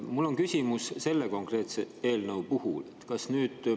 Mul on küsimus selle konkreetse eelnõu kohta.